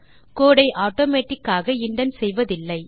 கோடு ஐ ஆட்டோமேட்டிக் ஆக இண்டென்ட் செய்வதில்லை